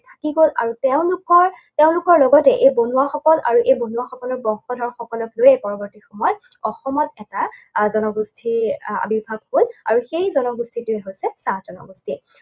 থাকি গল আৰু তেওঁলোকৰ তেওঁলোকৰ লগতে এই বনুৱাসকল আৰু এই বনুৱাসকলৰ বংশধৰসকলক লৈয়ে পৰৱৰ্তী সময়ত অসমত এটা আহ জনগোষ্ঠীৰ আহ আৱিৰ্ভাৱ হল আৰু সেই জনগোষ্ঠীটোৱেই হৈছে চাহ জনগোষ্ঠী।